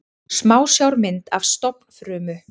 Smásjármynd af stofnfrumu.